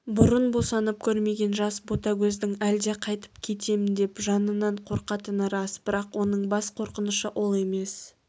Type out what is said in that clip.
бұрын босанып көрмеген жас ботагөздің әлде қайтіп кетем деп жанынан қорқатыны рас бірақ оның бас қорқынышы ол емес